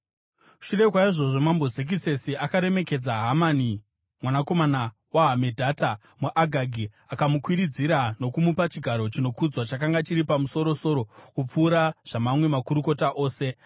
Shure kwaizvozvo, Mambo Zekisesi akaremekedza Hamani mwanakomana waHamedhata, muAgagi, akamukwidziridza nokumupa chigaro chinokudzwa chakanga chiri pamusoro-soro kupfuura zvamamwe makurukota ose.